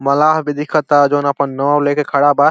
मलाह भी दिखता जोन आपन नव लेके खड़ा बा।